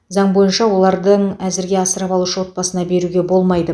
заң бойынша олардың әзірге асырап алушы отбасына беруге болмайды